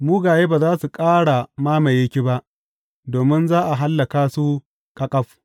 Mugaye ba za su ƙara mamaye ki ba; domin za a hallaka su ƙaƙaf.